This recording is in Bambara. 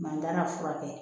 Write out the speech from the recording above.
Mantanya furakɛ